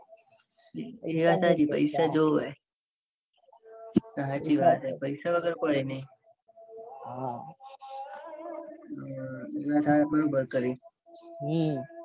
એ વાત હાચી પૈસા જોવે. સાચી વાત હે પૈસા વગર કોઈની. હા તે બરાબર કર્યું. હમ